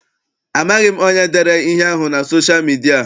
Amaghị m onye dere ihe ahụ na sosha midia.